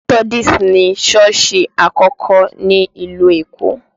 Methodist ni sọ́ọ̀sì àkọ́kọ́ ní ìlú Èkó